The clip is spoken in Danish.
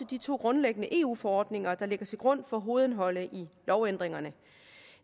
de to grundlæggende eu forordninger der ligger til grund for hovedindholdet i lovændringerne